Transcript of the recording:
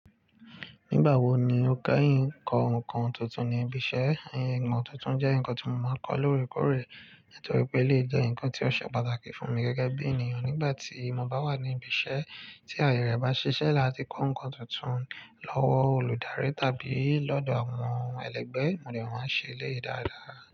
Nígbà wo ni o keyin kọ ǹkan tuntun ní ibi iṣẹ́? Nnkàn tuntun jẹ́ ǹkan tí mo máa ń kọ lóòrèkóòrè, nítorí pé elèyi jẹ ǹkan tí ó ṣe pàtàkì fún mi gẹ́gẹ́ bí ènìyàn. Nígbà tí mo bá wà ní ibi iṣẹ́ tí àyè rẹ̀ bá ṣiṣẹ́ láti kọ ǹkan tuntun lọ́wọ́ olùdarí tàbí lọ́dọ̀ àwọn ẹlẹ́gbẹ́, mo de máa ṣe eleyìí dáadáa.